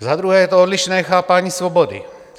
Za druhé je to odlišné chápání svobody.